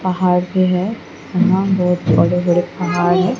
पहाड़ भी है यहां बहोत बड़े बड़े पहाड़ है।